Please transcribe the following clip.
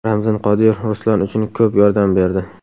Ramzan Qodirov Ruslan uchun ko‘p yordam berdi.